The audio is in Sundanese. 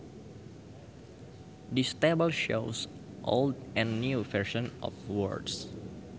This table shows old and new versions of words